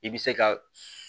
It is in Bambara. I bɛ se ka